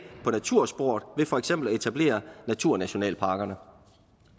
på natursporet ved for eksempel at etablere naturnationalparker